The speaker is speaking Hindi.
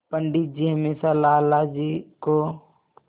पंडित जी हमेशा लाला जी को